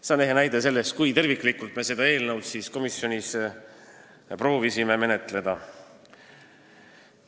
See on ehe näide sellest, kui terviklikult me proovisime seda eelnõu komisjonis menetleda.